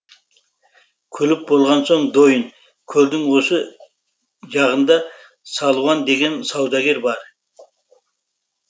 күліп болған соң дойын көлдің осы жағында салуан деген саудагер бар